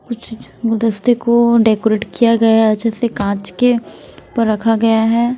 कुछ गुलदस्ते को डेकोरेट किया गया हैं जैसे कांच के उपर रखा गया हैं।